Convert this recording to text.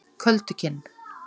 Köldukinn